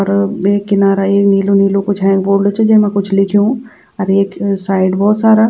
अर वेक किनारा एक नीलू नीलू कुछ हेंक बोर्ड च जेमा कुछ लिख्यूं अर एक साइड भौत सारा --